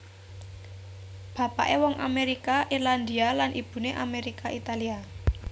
Bapaké wong Amérika Irlandia lan ibuné Amérika Italia